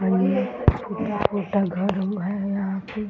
टूटा फूटा घर है यहाँ पे --